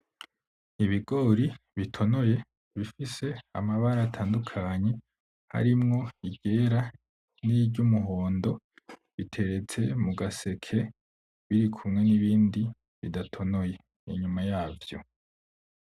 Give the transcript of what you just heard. Ibigori bitonoye bifise amabara atandukanye harimwo iryera niry'umuhondo, biteretse mu gaseke birikumwe n'ibindi bidatonoye, inyuma yavyo.